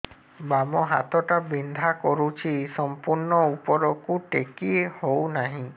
ବାମ ହାତ ଟା ବିନ୍ଧା କରୁଛି ସମ୍ପୂର୍ଣ ଉପରକୁ ଟେକି ହୋଉନାହିଁ